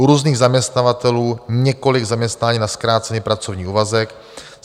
U různých zaměstnavatelů několik zaměstnání na zkrácený pracovní úvazek.